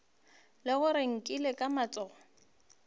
le gore nkile ka tsoga